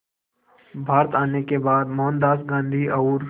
भारत आने के बाद मोहनदास गांधी और